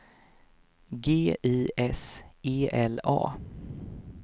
G I S E L A